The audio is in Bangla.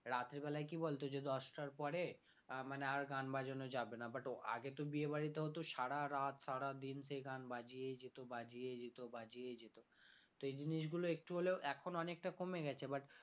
রাত্রিবেলা কি বলতো যে দশটার পরে আহ মানে আর গান বাজানো যাবেনা but আগে তো বিয়ে বাড়িতে হতো সারারাত সারাদিন সেই গান বাজিয়েই যেত বাজিয়েই যেত বাজিয়েই যেত তো এজিনিসগুলো একটু হলেও এখন অনেকটা কমে গেছে but